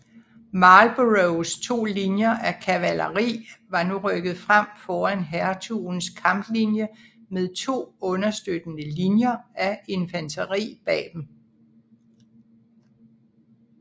Marlboroughs to linjer af kavaleri var nu rykket frem foran hertugens kamplinje med to understøttende linjer af infanteri bag dem